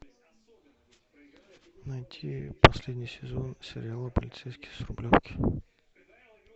найти последний сезон сериала полицейский с рублевки